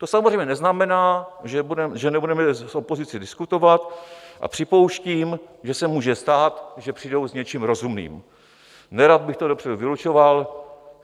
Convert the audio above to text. To samozřejmě neznamená, že nebudeme s opozicí diskutovat, a připouštím, že se může stát, že přijdou s něčím rozumným, nerad bych to dopředu vylučoval.